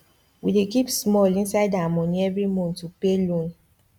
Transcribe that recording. we dey keep small inside our money every month to pay loan